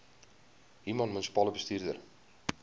human munisipale bestuurder